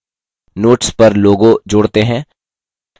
notes पर logo logo जोड़ते हैं